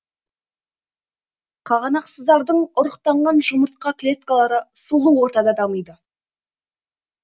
қағанақсыздардың ұрықтанған жұмыртқа клеткалары сулы ортада дамиды